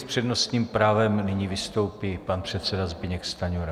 S přednostním právem nyní vystoupí pan předseda Zbyněk Stanjura.